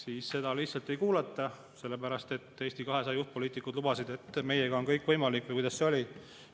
Aga teda lihtsalt ei kuulata, sellepärast et Eesti 200 juhtpoliitikud lubasid "Meiega on kõik võimalik" – või kuidas see oli?